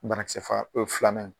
Banakisɛ faga n'o ye filanan ye.